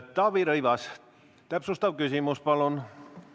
Taavi Rõivas, täpsustav küsimus, palun!